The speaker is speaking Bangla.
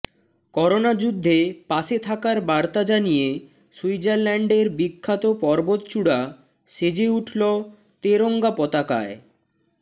করোনা যুদ্ধে পাশে থাকার বার্তা জানিয়ে সুইজারল্যান্ডের বিখ্যাত পর্বতচূড়া সেজে উঠলো তেরঙ্গা পতাকায়